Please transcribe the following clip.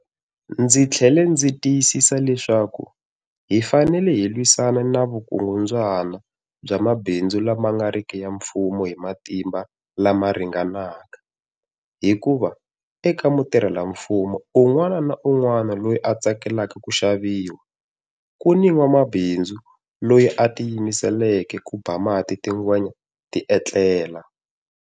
Ndzi tlhele ndzi tiyisisa leswaku hi fanele hi lwisana ni vukungundzwana bya mabindzu la ma ngariki ya mfumo hi matimba lama ringanaka, hikuva eka mutirhela mfumo un'wana ni un'wana loyi a tsakelaka ku xaviwa, ku ni n'wamabindzu loyi a tiyimiseleke ku ba mati tingwenya tietela.